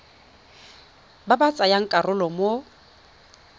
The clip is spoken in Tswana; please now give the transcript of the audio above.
ba ba tsayang karolo mo